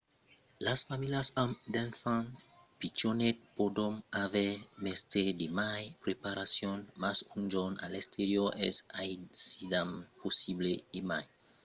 las familhas amb d’enfants pichonets pòdon aver mestièr de mai de preparacion mas un jorn a l'exterior es aisidament possible e mai amb de nenons e los enfants d'edat preescolara